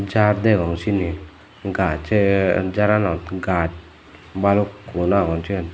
jar degong siyenit gach se jaranot gach balukkun agon siyen.